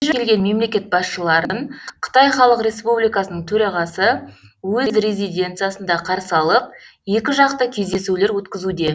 бейжіңге келген мемлекет басшыларын қытай халық республикасының төрағасы өз резиденциясында қарсы алып екіжақты кездесулер өткізуде